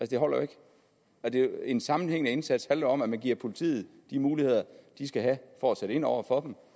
det holder jo ikke en sammenhængende indsats handler om at man giver politiet de muligheder de skal have for at sætte ind over for